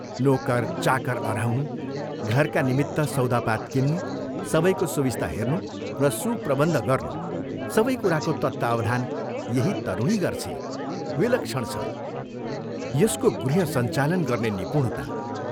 नोकर, चाकर अह्राउनु, घरका निमित्त सौदापात किन्नु, सबैको सुविस्ता हेर्नु र सुप्रबन्ध गर्नु सबै कुराको तत्वावधान यही तरुणी गर्छे विलक्षण छ यसको गृहसञ्चालन गर्ने निपुणता।